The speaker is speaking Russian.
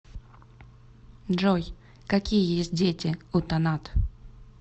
джой какие есть дети у танат